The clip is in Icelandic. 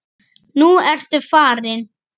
Nú ertu farinn.